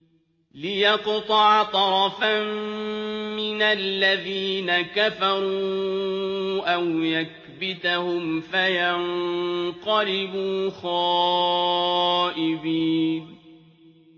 لِيَقْطَعَ طَرَفًا مِّنَ الَّذِينَ كَفَرُوا أَوْ يَكْبِتَهُمْ فَيَنقَلِبُوا خَائِبِينَ